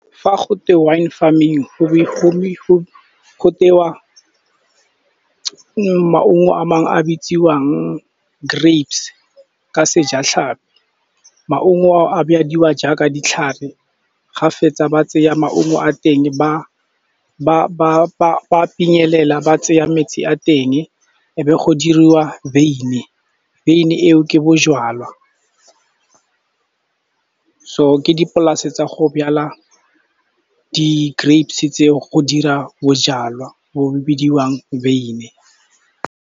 Fa go twe wine farming, go tewa maungo a mangwe a bitsiwang grapes ka sejatlhapi. Maungo a jaaka ditlhare, ga fetsa ba tseya maungo a teng ba a pinyelela, ba tseya metsi a teng, e be go diriwa veine. Veine e o ke bojalwa. So, ke dipolase tsa go jala di-grapes-e tse o, go dira bojalwa bo bo bidiwang veine.